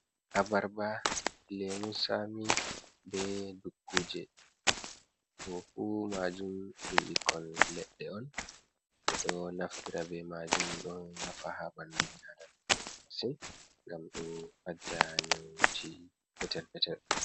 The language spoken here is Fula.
Abarba, lemun sami, be dukkuje. Ɗum fu maajum ɗum ɓikkon leɗɗe on, ɓe ɗo naftira be maajum, ɗo nafa haa ɓanfu ɓi aadamaajo sosai, ngam ɗo fadda nyawuuji petel-petel.